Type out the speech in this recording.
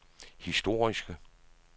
historiske